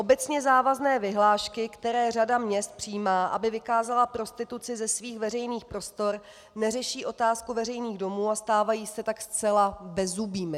Obecně závazné vyhlášky, které řada měst přijímá, aby vykázala prostituci ze svých veřejných prostor, neřeší otázku veřejných domů a stávají se tak zcela bezzubými.